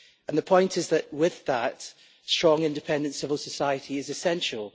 The point is that, with that, a strong independent civil society is essential.